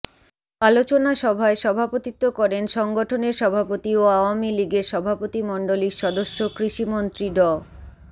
আলোচনা সভায় সভাপতিত্ব করেন সংগঠনের সভাপতি ও আওয়ামী লীগের সভাপতিমন্ডলীর সদস্য কৃষিমন্ত্রী ড